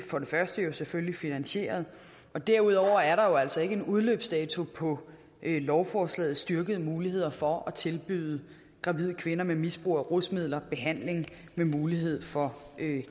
for det første selvfølgelig finansieret og derudover er der jo altså ikke en udløbsdato på lovforslagets styrkede muligheder for at tilbyde gravide kvinder med misbrug af rusmidler behandling med mulighed for